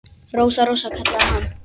Rósa, Rósa, kallaði hann.